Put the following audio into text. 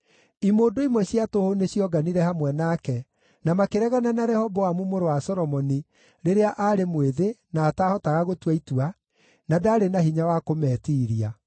Imũndũ imwe cia tũhũ nĩcionganire hamwe nake, na makĩregana na Rehoboamu mũrũ wa Solomoni rĩrĩa aarĩ mwĩthĩ na ataahotaga gũtua itua, na ndaarĩ na hinya wa kũmeetiiria.